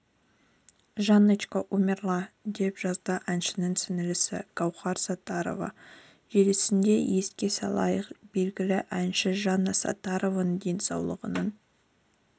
жанночка умерла деп жазды әншінің сіңлісі гаухар саттарова желісінде еске салайық белгілі әнші жанна саттарованың денсаулығының